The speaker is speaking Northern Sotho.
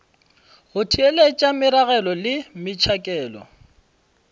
go theeletša meragelo le metšhakelo